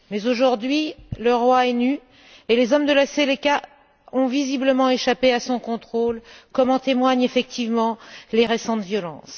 Aujourd'hui, le roi est nu et les hommes de la Seleka ont visiblement échappé à son contrôle, comme en témoignent effectivement les récentes violences.